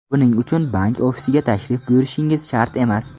Buning uchun bank ofisiga tashrif buyurishingiz shart emas.